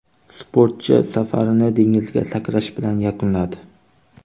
Sportchi safarini dengizga sakrash bilan yakunladi.